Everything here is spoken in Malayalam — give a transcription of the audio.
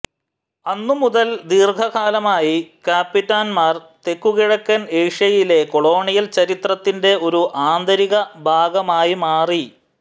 അന്നു മുതൽ ദീർഘകാലമായി കപിറ്റന്മാർ തെക്കുകിഴക്കൻ ഏഷ്യയിലെ കൊളോണിയൽ ചരിത്രത്തിന്റെ ഒരു ആന്തരിക ഭാഗമായി മാറി